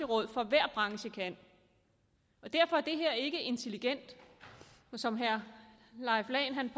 råd for hver branche kan og derfor er det her ikke intelligent som herre leif lahn